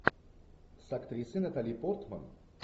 с актрисой натали портман